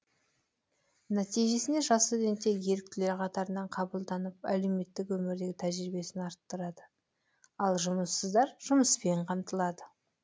нәтижесінде жас студенттер еріктілер қатарына қабылданып әлеуметтік өмірдегі тәжірибесін арттырады ал жұмыссыздар жұмыспен қамтылады